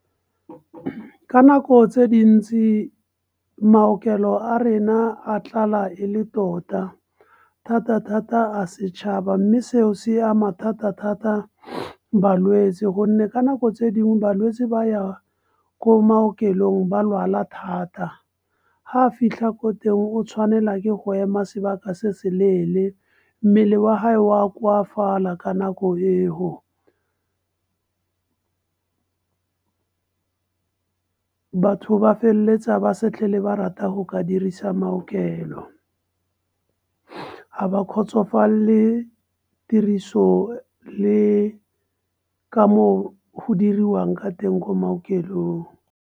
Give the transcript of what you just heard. Ka nako tse dintsi maokelo a rena a tlala e le tota. Thata-thata a setšhaba mme seo se ama thata-thata balwetse, gonne ka nako tse dingwe balwetsi ba ya ko maokelong ba lwala thata. Ha fitlha ko teng o tshwanela ke go ema sebaka se se leele, mmele wa gae wa koafala ka nako eo . Batho ba feleletsa ba se tlhele ba rata go ka dirisa maokelo. Ga ba kgotsofalele tiriso, le ka moo go diriwang ka teng ko maokelong.